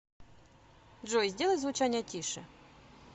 джой сделай звучание тише